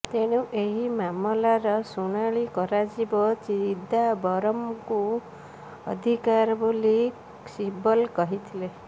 ତେଣୁ ଏହି ମାମଲାର ଶୁଣାଣି କରାଯିବା ଚିଦାମ୍ବରମ୍ଙ୍କ ଅଧିକାର ବୋଲି ଶିବଲ କହିଥିଲେ